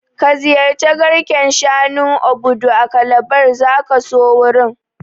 Ka ziyarci garken shanun Obudu a Calabar, zaka so wurin